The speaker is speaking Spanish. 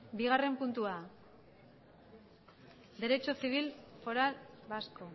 bigarren puntua derecho civil foral vasco